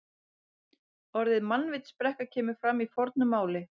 Orðið mannvitsbrekka kemur fyrir í fornu máli.